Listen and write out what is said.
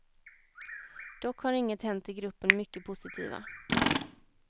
Dock har inget hänt i gruppen mycket positiva.